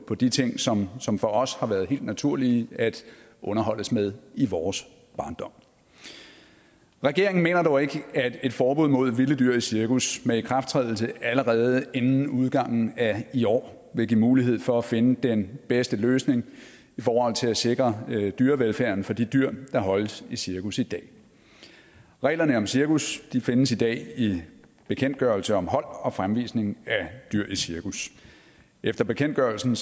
på de ting som som for os har været helt naturlige at underholdes med i vores barndom regeringen mener dog ikke at et forbud mod vilde dyr i cirkus med ikrafttrædelse allerede inden udgangen af i år vil give mulighed for at finde den bedste løsning i forhold til at sikre dyrevelfærden for de dyr der holdes i cirkus i dag reglerne om cirkus findes i dag i bekendtgørelse om hold og fremvisning af dyr i cirkus efter bekendtgørelsen